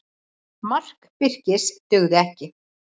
Mark Birkis dugði ekki